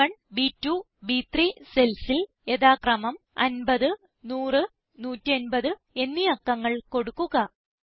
ബ്1 B two ബ്3 cellsൽ യഥാക്രമമം 50 100 150 എന്നീ അക്കങ്ങൾ കൊടുക്കുക